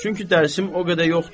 Çünki dərsim o qədər yoxdu.